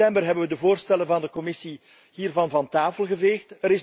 In september hebben we de voorstellen van de Commissie hieromtrent van tafel geveegd.